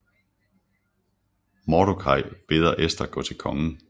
Mordokaj beder Ester gå til kongen